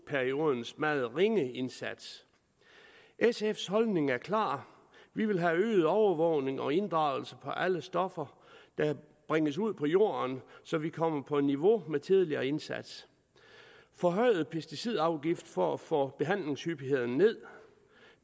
periodens meget ringe indsats sfs holdning er klar vi vil have øget overvågning og inddragelse af alle stoffer der bringes ud på jorden så vi kommer på niveau med tidligere indsats forhøjet pesticidafgift for at få behandlingshyppigheden ned